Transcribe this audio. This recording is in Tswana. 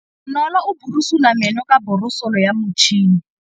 Bonolô o borosola meno ka borosolo ya motšhine.